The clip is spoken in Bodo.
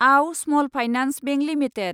आव स्मल फाइनेन्स बेंक लिमिटेड